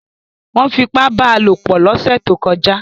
Wọ́n fipá bá a lò pọ̀ lọ́sẹ̀ tó kọjá